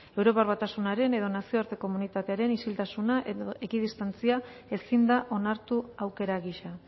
europar batasunaren edo nazioarte komunitatearen isiltasuna edo ekidistantzia ezin da onartu aukera gisa